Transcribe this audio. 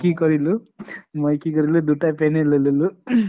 কি কৰিলোঁ, কি কৰিলোঁ দুটা pant য়ে লৈ ললো ing